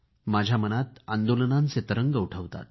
माझ्या मनात तरंग उठवतात